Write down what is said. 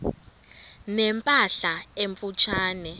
ne mpahla emfutshane